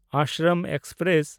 Ashram express